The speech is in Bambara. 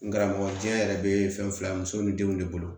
N karamɔgɔ diɲɛ yɛrɛ be fɛn fila muso ni denw de bolo